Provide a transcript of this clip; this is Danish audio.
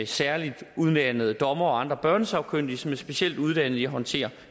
særligt uddannede dommere og andre børnesagkyndige som er specielt uddannet i at håndtere